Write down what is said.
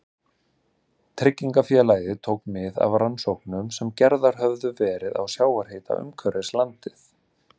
Tryggingafélagið tók mið af rannsóknum sem gerðar höfðu verið á sjávarhita umhverfis landið.